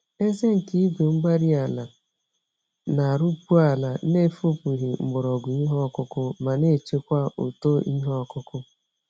Eze nke igwe-mgbárí-ala na-arụpu ala n'efipụghị mgbọrọgwụ ìhè okụkụ, ma nechekwa uto ìhè okụkụ